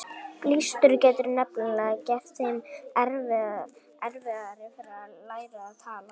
Blístur getur nefnilega gert þeim erfiðara fyrir að læra að tala.